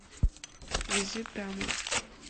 визит дамы